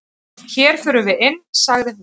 """Hér förum við inn, sagði hún."""